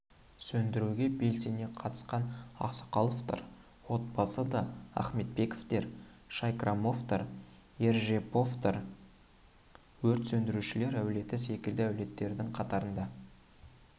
сөндіруге белсене қатысқан ақсақаловтар отбасы да ахметбековтер шайкрамовтар ержеповтер өрт сөндірушілер әулеті секілді әулеттердің қатарында